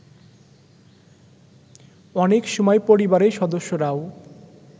অনেক সময় পরিবারের সদস্যরাও